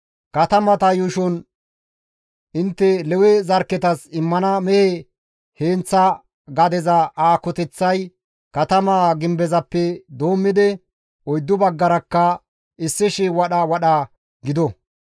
Katamata yuushon intte Lewe zarkketas immana mehe heenththa gadeza aakoteththay katamaa gimbezappe doommidi oyddu baggarakka 1,000 wadha wadha gido.